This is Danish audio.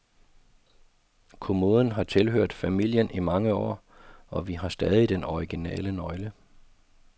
Kommoden har tilhørt familien i mange år, og vi har stadig den originale nøgle.